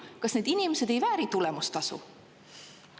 Kas need inimesed ei vääri tulemustasu?